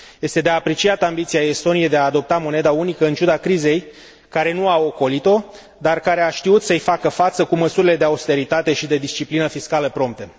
Este de apreciat ambiția Estoniei de a adopta moneda unică în ciuda crizei care nu a ocolit o, dar care a știut să i facă față cu măsurile de austeritate și de disciplină fiscală prompte.